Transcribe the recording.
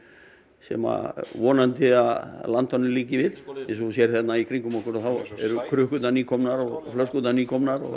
sem að vonandi landanum líki við eins og þú sérð hérna í kringum okkur þá eru krukkurnar nýkomnar og flöskurnar nýkomnar